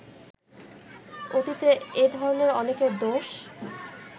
অতীতে এধরণের অনেকর দোষ